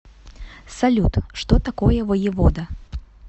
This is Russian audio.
салют что такое воевода